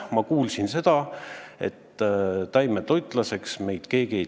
Ma kuulsin, et taimetoitlaseks meid keegi ei tee.